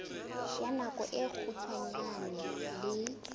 ya nako e kgutshwane le